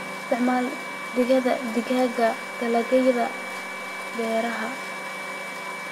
Ku isticmaal digada digaaga dalagyada beeraha.